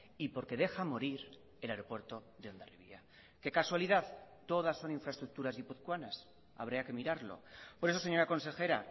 y porque deja morir el aeropuerto de hondarribia qué casualidad todas son infraestructuras guipuzcoanas habría que mirarlo por eso señora consejera